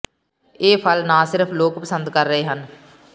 ਇਹ ਫਲ ਨਾ ਸਿਰਫ ਲੋਕ ਪਸੰਦ ਕਰ ਰਹੇ ਹਨ